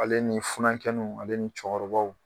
Ale ni furakɛnen ale ni cɛkɔrɔbaw.